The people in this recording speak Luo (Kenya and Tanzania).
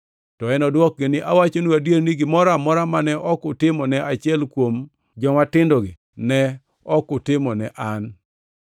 “To enodwokgi ni, ‘Awachonu adier ni, gimoro amora mane ok utimo ne achiel kuom jomatindogi, ne ok utimo ne an.’